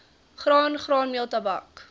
graan graanmeel tabak